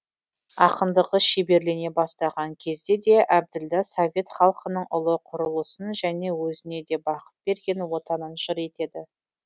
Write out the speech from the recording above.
ақындығы шеберлене бастаған кезде де әбділда совет халқының ұлы құрылысын және өзіне де бақыт берген отанын жыр етеді